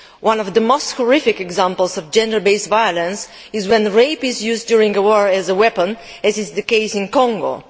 One of the most horrific examples of gender based violence is when rape is used during war as a weapon, as is the case in Congo.